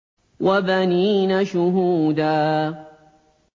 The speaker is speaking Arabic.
وَبَنِينَ شُهُودًا